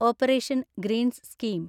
operation greens scheme